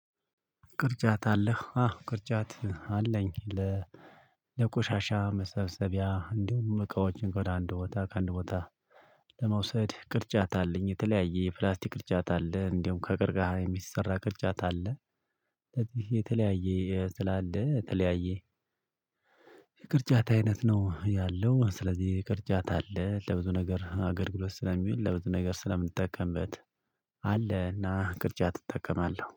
ቅርጫት አለህ አዎ ቅርጫት አለኝ። ለቆሻሻ መሰብሰቢያ እንዲሁም እቃዎችን ወደ አንድ ቦታ ከአንድ ቦታ ለመውሰድ ቅርጫት አለኝ የተለያየ የፕላስቲክ ቅርጫት አለ እንደውም ከቃርከሃ የሚሰራ ቅርጫት አለ። ስለዚህ የተለያየ ስላለ የተለያየ የቅርጫት አይነት ነው ያለው ስለዚህ የቅርጫት አለ ለብዙ ነገር አገልግሎት ስለሚውል ለብዙ ነገር ስለምንጠቀምበት። አለና ቅርጫት እጠቀማለሁ